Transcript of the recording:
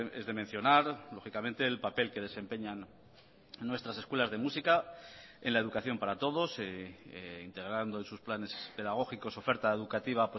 es de mencionar lógicamente el papel que desempeñan nuestras escuelas de música en la educación para todos integrando en sus planes pedagógicos oferta educativa